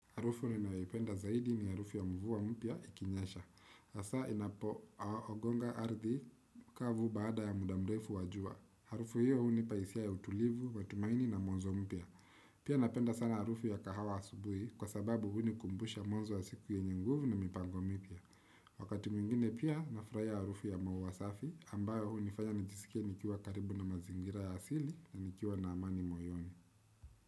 Harufu ninayoipenda zaidi ni harufu ya mvua mpya ikinyesha. Hasa inapogonga ardhi kavu baada ya muda mrefu wa jua. Harufu hiyo hunipa hisia ya utulivu, matumaini na mwanzo mpya. Pia napenda sana harufu ya kahawa asubuhi kwa sababu hunikumbusha mwanzo wa siku yenye nguvu na mipango mipya. Wakati mwingine pia nafurahia harufu ya maua safi ambayo hunifanya nijisikie nikiwa karibu na mazingira ya asili na nikiwa na amani moyoni.